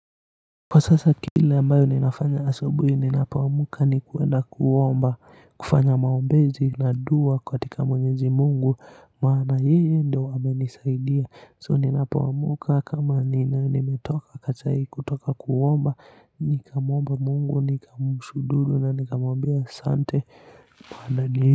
Kwa sasa kile ambayo ninafanya asubuhi ninapoamka ni kwenda kuomba, kufanya maombezi na dua katika Mwenyezi Mungu, maana yeye ndiye amenisaidia. So ninapoamka, kama nimetoka kuomba. Nikamwomba Mungu, nikamshukuru na nikamwambia asante.